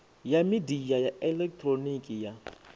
ya midia ya elekihironiki ya